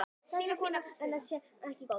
Þessi þróun sé ekki góð.